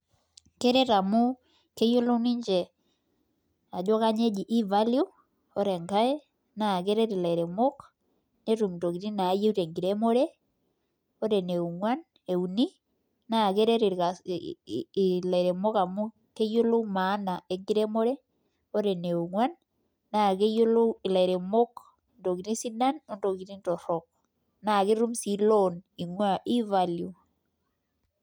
Keret amu keyiolou ninche ajo kanyioo eji e Valio, ore enkae, na keret ilairemok, netum intokiting nayieu tenkiremore. Ore ene ong'uan, euni, naa keret ilairemok amu keyiolou maana enkiremore, ore ene ong'uan, naa keyiolou ilairemok intokiting sidan, ontokiting torrok. Na ketum si loan ing'ua e Valio.